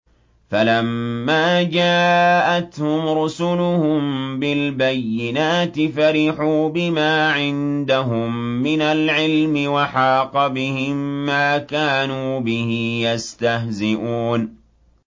فَلَمَّا جَاءَتْهُمْ رُسُلُهُم بِالْبَيِّنَاتِ فَرِحُوا بِمَا عِندَهُم مِّنَ الْعِلْمِ وَحَاقَ بِهِم مَّا كَانُوا بِهِ يَسْتَهْزِئُونَ